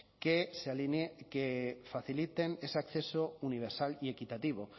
que se alinee que faciliten ese acceso universal y equitativo